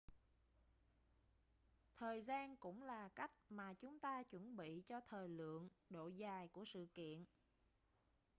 thời gian cũng là cách mà chúng ta chuẩn bị cho thời lượng độ dài của sự kiện